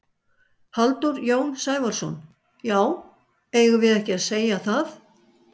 Halldór Jón Sævarsson: Já eigum við ekki að segja það?